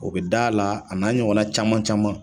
O bɛ da la a n'a ɲɔgɔn na caman caman.